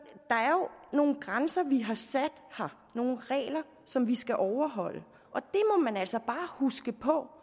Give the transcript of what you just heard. nogle grænser vi har sat her nogle regler som vi skal overholde og man altså bare huske på